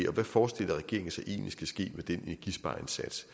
og hvad forestiller regeringen sig egentlig der skal ske med den energispareindsats